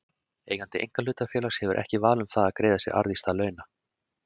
Eigandi einkahlutafélags hefur ekki val um það að greiða sér arð í stað launa.